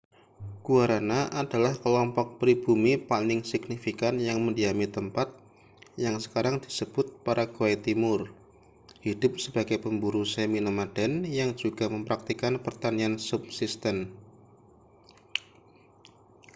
guaranã­ adalah kelompok pribumi paling signifikan yang mendiami tempat yang sekarang disebut paraguay timur hidup sebagai pemburu semi-nomaden yang juga mempraktikkan pertanian subsisten